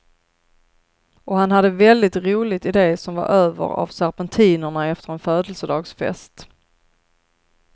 Och han hade väldigt roligt i det som var över av serpentinerna efter en födelsedagsfest.